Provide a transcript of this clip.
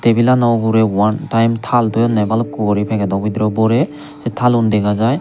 tebilano ugurey one time thaal toyonney balukko guri pagedo bidirey borey sei thalun dega jai.